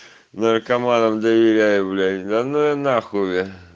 наркоманам доверяю блять да ну её нахуй